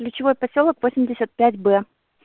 ключевой посёлок восемьдесят пять б